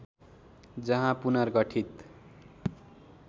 जहाँ पुनर्गठित